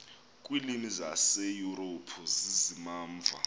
kwiilwimi zaseyurophu zizimamva